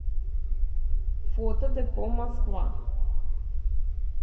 фото депо москва